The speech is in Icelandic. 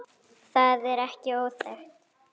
Það er ekki óþekkt.